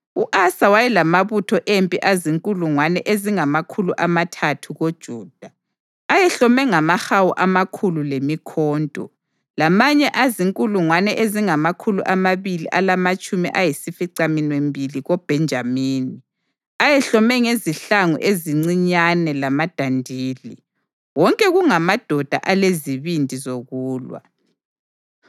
U-Asa wayelamabutho empi azinkulungwane ezingamakhulu amathathu koJuda, ayehlome ngamahawu amakhulu lemikhonto, lamanye azinkulungwane ezingamakhulu amabili alamatshumi ayisificaminwembili koBhenjamini, ayehlome ngezihlangu ezincinyane lamadandili. Wonke kungamadoda alezibindi zokulwa.